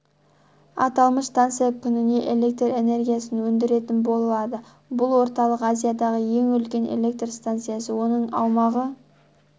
аталмыш станция күніне электр энергиясын өндіретін болады бұл орталық азиядағы ең үлкен электр станциясы оның аумағы